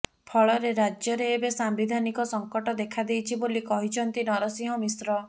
ଫଳରେ ରାଜ୍ୟରେ ଏବେ ସାମ୍ବିଧାନିକ ସଙ୍କଟ ଦେଖାଦେଇଛି ବୋଲି କହିଛନ୍ତି ନରସିଂହ ମିଶ୍ର